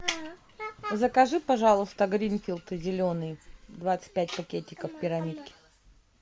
закажи пожалуйста гринфилд зеленый двадцать пять пакетиков пирамидки